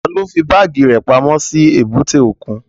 Taló fí báàgì rẹ̀ pamọ́ sí èbúté òkun?